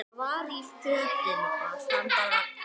Það er bara þýska.